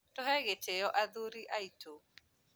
tũhegĩtĩo athuri aitũ